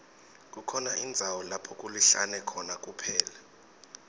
kukhona indzawo lapho kulihlane khona kuphela